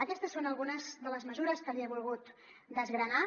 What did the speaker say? aquestes són algunes de les mesures que li he volgut desgranar